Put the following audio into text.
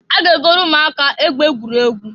A ga-egolu umuaka egbe egwuregwu.